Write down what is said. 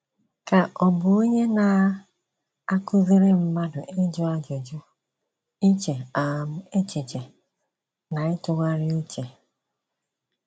Ka ọ̀ bụ onye na -- akụziri mmadụ ịjụ ajụjụ, iche um echiche, na ịtụgharị uche?